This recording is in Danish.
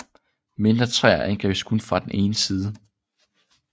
Mindre træer angribes kun fra den ene side